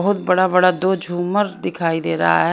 बहोत बड़ा बड़ा दो झूमर दिखाई दे रहा है।